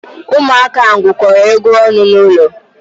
Ụmụaka ahụ gwukọrọ egwu ọnụ n'ụlọ.